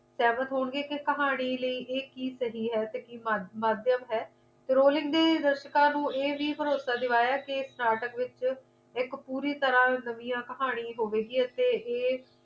ਸਹਿਮਤ ਹੋਣਗੇ ਕੇ ਕਹਾਣੀ ਲਈ ਕੀ ਇਹ ਕੀ ਸਹੀ ਹੈ ਤੇ ਕੀ ਮਾਧਿਅਮ ਹੈ rolling ਨੇ ਦਰਸ਼ਕਾਂ ਨੂੰ ਇਹ ਵੀ ਭਰੋਸਾ ਦਿਵਾਇਆ ਕੇ ਇਸ ਨਾਟਕ ਦੇ ਵਿੱਚ ਪੂਰੀ ਤਰਾਂ ਇੱਕ ਨਵੀਂ ਕਹਾਣੀ ਹੋਵੇਗੀ ਹੀ ਅਤੇ